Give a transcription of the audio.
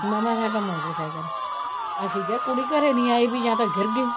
ਨਵਾਂ ਸਾਡਾ motorcycle ਅਸੀਂ ਕਿਹਾ ਵੀ ਕੁੜੀ ਘਰੇ ਨੀ ਆਈ ਜਾਂ ਤਾਂ ਗਿਰ ਗਈ